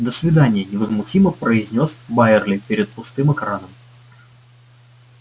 до свидания невозмутимо произнёс байерли перед пустым экраном